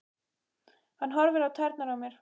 Hann horfir á tærnar á mér.